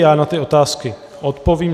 Já na ty otázky odpovím.